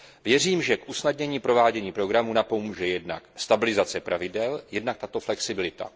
Věřím, že k usnadnění provádění programu napomůže jednak stabilizace pravidel, jednak tato flexibilita.